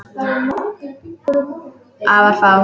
Afar fáar.